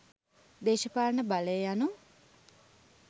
දේශපාලන බලය යනු